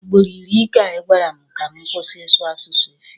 Ugboro iri ka ị gwara m ka m kwụsị ịsụ asụsụ efik.